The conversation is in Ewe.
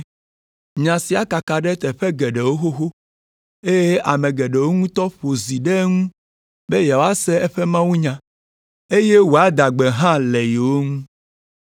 Nya sia kaka ɖe teƒe geɖewo xoxo, eye ame geɖewo ŋutɔ ƒo zi ɖe eŋu be yewoase eƒe mawunya, eye wòada gbe hã le yewo ŋu.